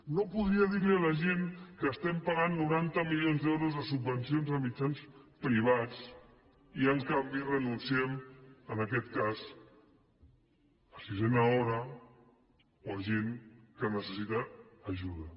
no podria dir a la gent que estem pagant noranta milions d’euros de subvencions a mitjans privats i en canvi renunciem en aquest cas a sisena hora o a gent que necessita ajuda